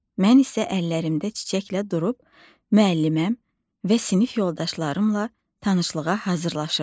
Mən isə əllərimdə çiçəklə durub müəlliməm və sinif yoldaşlarımla tanışlığa hazırlaşıram.